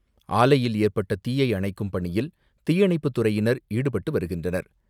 ஆலையில் ஏற்பட்ட தீயை அணைக்கும் பணியில் தீயணைப்புப் துறையினர் ஈடுபட்டு வருகின்றனர்.